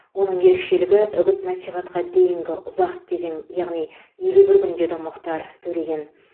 оның ерекшелігі үгіт насихатқа дейінгі ұзақ кезең яғни елу бір күн деді мұхтар төлеген